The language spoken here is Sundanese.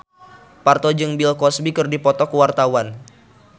Parto jeung Bill Cosby keur dipoto ku wartawan